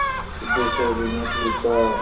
सिद्धेश्वरीने पूछा